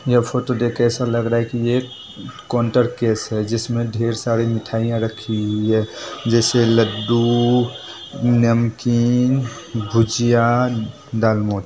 यह फोटो देख के ऐसा लग रहा है की ये काउन्टर केश है जिसमे ढेर सारी मिठाईयां रखी हुयी है जैसे लड्डू नमकीन भुजिया दालमोट ।